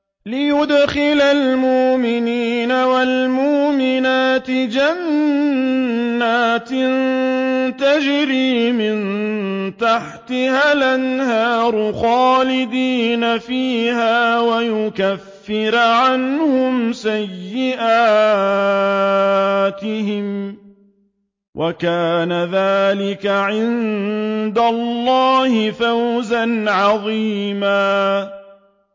لِّيُدْخِلَ الْمُؤْمِنِينَ وَالْمُؤْمِنَاتِ جَنَّاتٍ تَجْرِي مِن تَحْتِهَا الْأَنْهَارُ خَالِدِينَ فِيهَا وَيُكَفِّرَ عَنْهُمْ سَيِّئَاتِهِمْ ۚ وَكَانَ ذَٰلِكَ عِندَ اللَّهِ فَوْزًا عَظِيمًا